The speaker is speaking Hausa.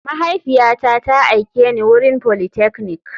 Mahaifiyata ta aike ni wurin politechnic.